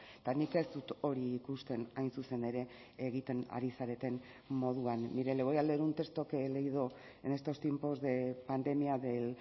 eta nik ez dut hori ikusten hain zuzen ere egiten ari zareten moduan mire le voy a leer un texto que he leído en estos tiempos de pandemia del